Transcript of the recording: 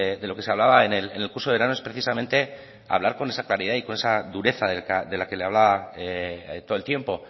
de lo que se hablaba en el curso de verano es precisamente hablar con esa claridad y con esa dureza de la que le hablaba todo el tiempo